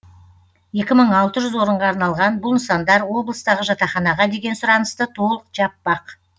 екі мың алты жүз орынға арналған бұл нысандар облыстағы жатақханаға деген сұранысты толық жаппақ